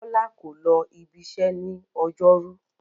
Bọ́lá kò lọ ibiṣẹ́ ní ọjọ́rú.